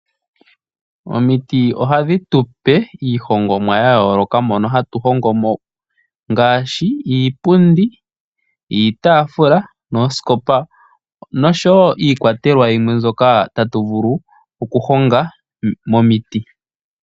Omiti ohadhi tu pe iihongomwa ya yooloka. Momiti ohatu hongo mo iinima ya yooloka ngaashi iipundi, iitaafula, oosikopa noshowo iikwatelwa yimwe mbyoka tatu vulu okuhonga momiti.